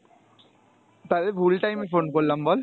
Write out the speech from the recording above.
তাইলে ভুল time এ phone করলাম বল